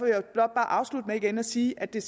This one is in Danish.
jeg blot bare afslutte med igen at sige at det